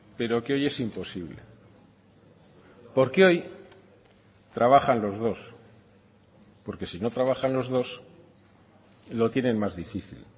pero que hoy es imposible porque hoy trabajan los dos porque si no trabajan los dos lo tienen más difícil